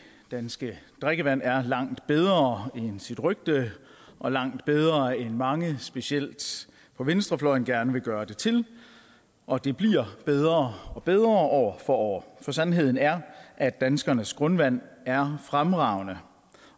danske drikkevand er langt bedre end sit rygte og langt bedre end mange specielt på venstrefløjen gerne vil gøre det til og det bliver bedre og bedre år for år for sandheden er at danskernes grundvand er fremragende